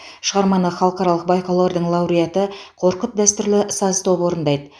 шығарманы халықаралық байқаулардың лауреаты қорқыт дәстүрлі саз тобы орындайды